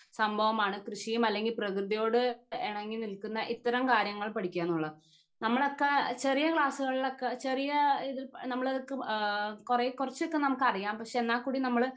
സംഭവമാണ് കൃഷിയും അല്ലെങ്കി പ്രകൃതിയോട് എണങ്ങി നിൽക്കുന്ന ഇത്തരം കാര്യങ്ങൾ പാടിക്കാന്ന് ഉള്ള നമ്മളൊക്കെ ചെറിയ ക്ലാസ്സുകളിലൊക്കെ ചെറിയ ഇത് നമ്മൾക്ക് ഏഹ്മ് കൊറേ കുറച്ചൊക്കെ നമുക്ക് അറിയാം പക്ഷെ എന്നാകൂടി നമ്മൾ